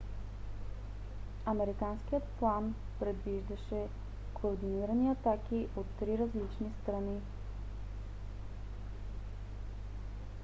американският план предвиждаше координирани атаки от три различни страни